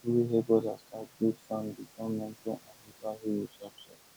people wey help others start goat farm dey turn mentor and local hero sharp sharp